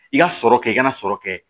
I ka sɔrɔ kɛ i ka na sɔrɔ kɛ